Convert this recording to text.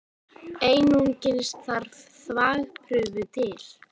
Einungis þarf þvagprufu til.